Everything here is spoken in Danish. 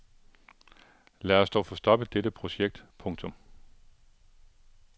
Lad os dog få stoppet dette projekt. punktum